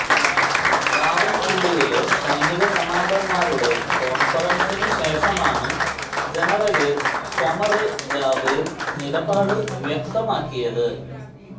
റാവല്പിണ്ടിയില് സൈനിക കമാന്ഡര്മാരുടെ കോണ്ഫറന്സിനു ശേഷമാണ് ജനറല് ഖ്വമര് ജാവേദ് നിലപാട് വ്യക്തമാക്കിയത്